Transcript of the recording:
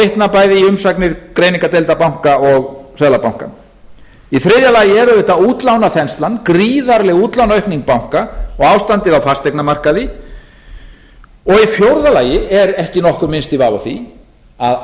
vitna bæði í umsagnir greiningardeilda banka og seðlabanka í þriðja lagi er auðvitað útlánaþenslan gríðarleg aukning útlánaaukning banka og ástandið á fasteignamarkaði og í fjórða lagi er ekki nokkur minnsti vafi á því að